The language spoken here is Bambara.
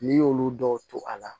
N'i y'olu dɔw to a la